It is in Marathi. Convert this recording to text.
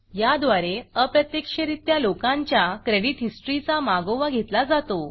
याद्वारे अप्रत्यक्षरित्या लोकांच्या क्रेडिट हिस्ट्रीचा मागोवा घेतला जातो